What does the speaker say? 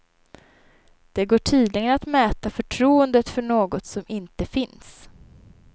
Det går tydligen att mäta förtroendet för något som inte finns.